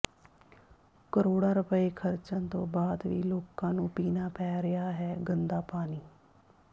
ਕਰੋੜਾਂ ਰੁਪਏ ਖਰਚਣ ਤੋਂ ਬਾਅਦ ਵੀ ਲੋਕਾਂ ਨੰੂ ਪੀਣਾ ਪੈ ਰਿਹਾ ਗੰਦਾ ਪਾਣੀ